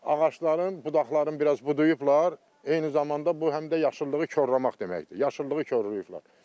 Ağacların budaqlarını biraz budayıblar, eyni zamanda bu həm də yaşıllığı korlamaq deməkdir, yaşıllığı korlayıblar.